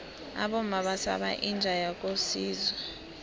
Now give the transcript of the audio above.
abomma basaba inja yakosizwe